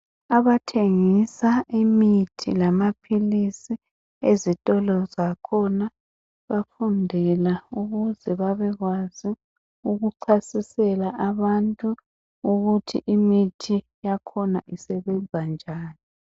Abathengisa imithi lamaphilisi ezitolo zakhona bafundela ukuze babekwazi ukuchasisela abantu ukuthi imithi yakhona isebenza njani .